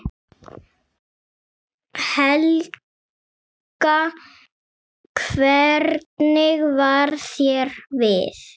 Helga: Hvernig varð þér við?